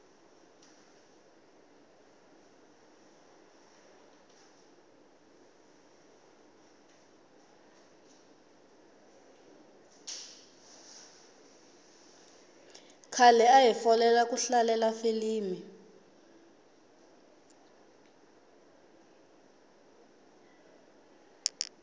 khale ahi folela ku hlalela filimi